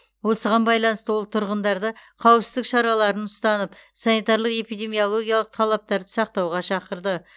осыған байланысты ол тұрғындарды қауіпсіздік шараларын ұстанып санитарлық эпидемиологиялық талаптарды сақтауға шақырды